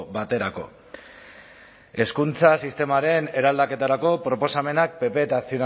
baterako hezkuntza sistemaren eraldaketarako proposamenak pp eta